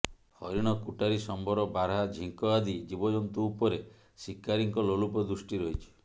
ହରିଣ କୁଟାରୀ ସମ୍ବର ବାରହା ଝୀଙ୍କ ଆଦି ଜୀବଜନ୍ତୁ ଉପରେ ଶିକାରୀଙ୍କ ଲୋଲୁପ ଦୃଷ୍ଟି ରହିଛି